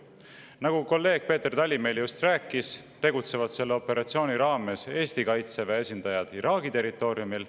Nagu kolleeg Peeter Tali meile just rääkis, tegutsevad selle operatsiooni raames Eesti Kaitseväe esindajad Iraagi territooriumil.